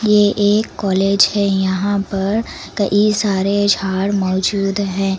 ये एक कॉलेज है यहां पर कई सारे झाड़ मौजूद हैं।